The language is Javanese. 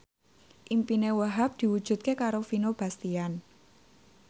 impine Wahhab diwujudke karo Vino Bastian